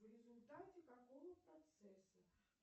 в результате какого процесса